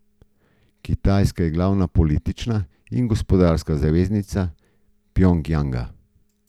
Kitajska je glavna politična in gospodarska zaveznica Pjongjanga.